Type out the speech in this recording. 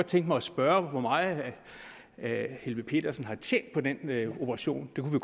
tænkt mig at spørge hvor meget herre helveg petersen har tjent på den operation det kunne